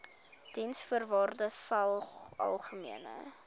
diensvoorwaardesalgemene